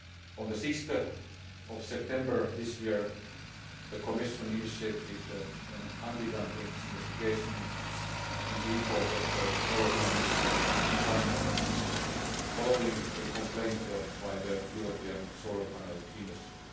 On 6 September this year, the Commission initiated an anti dumping investigation into imports of solar panels from China following a complaint by the European solar panel industry.